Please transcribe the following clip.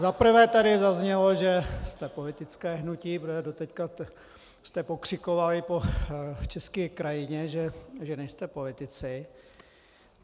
Za prvé tady zaznělo, že jste politické hnutí, protože doteď jste pokřikovali po české krajině, že nejste politici.